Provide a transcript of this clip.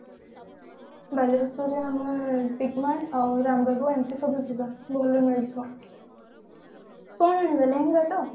ବାଲେଶ୍ଵର ରେ ଆମେ ଏଇ ଲେହେଙ୍ଗା ତ